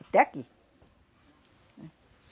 Até aqui, né?